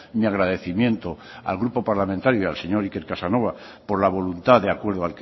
mi agradecimiento al grupo parlamentario y al señor iker casanova por la voluntad de acuerdo